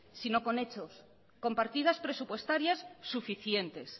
sino con hechos con partidas presupuestarias suficientes